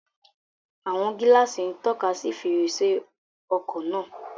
Àwọn gíláàsì ń tọ́ka sí fèrèsé ọkọ̀ náà